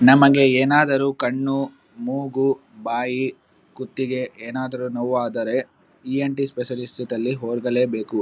ನಮಗೆ ಏನಾದರು ಕಣ್ಣು ಮೂಗು ಬಾಯಿ ಕುತ್ತಿಗೆ ಏನಾದರು ನೋವು ಆದರೆ ಇ.ಏನ್.ಟಿ ಸ್ಪೆಷಲಿಸ್ಟ್ ಸ್ತುತಲ್ಲಿ ಹೋಗಲೆಬೇಕು.